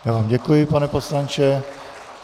Já vám děkuji, pane poslanče.